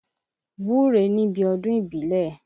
Wúre níbi ọdún ìbílẹ̀!